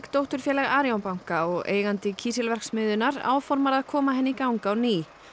dótturfélag Arion banka og eigandi kísilverksmiðjunnar áformar að koma henni í gang á ný